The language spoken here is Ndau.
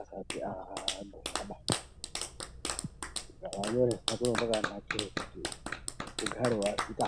asati angumaba gara wanyoresa kuitira kuti ugare wazikanwa.